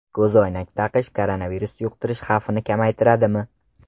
Ko‘zoynak taqish koronavirus yuqtirish xavfini kamaytiradimi?